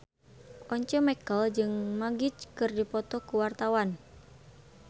Once Mekel jeung Magic keur dipoto ku wartawan